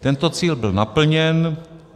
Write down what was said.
Tento cíl byl naplněn.